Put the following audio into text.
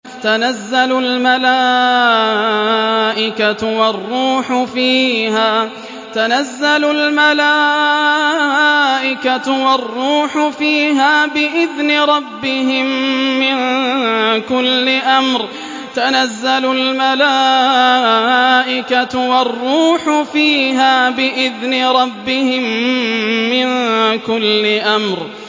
تَنَزَّلُ الْمَلَائِكَةُ وَالرُّوحُ فِيهَا بِإِذْنِ رَبِّهِم مِّن كُلِّ أَمْرٍ